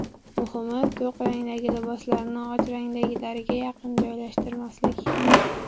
Muhimi, to‘q rangdagi liboslarni och ranglilariga yaqin joylashtirmaslik.